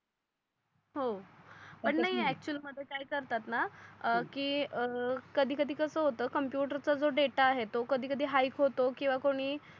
हो पण तस नाही नाही अकचुव्हॅली मध्ये काय करतात णा की काही काही कस होत कॉम्प्युटरचा जो डेटा आहे तो कधी कधी हायक होतो किवा कोणी